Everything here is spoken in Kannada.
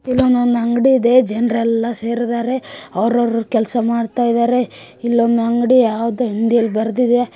ಇಲ್ಲೊಂದು ಅಂಗಡಿ ಇದೆ ಜನರಲ್ಲ ಸೇರಿದ್ದಾರೆ ಅವರವರ ಕೆಲಸ ಮಾಡುತ್ತಿದ್ದಾರೆ ಇಲ್ಲಂದ್ ಅಂಗಡಿ ಯಾವುದು ಹಿಂದಿಯಲ್ಲಿ ಬರ್ತಿದೆ.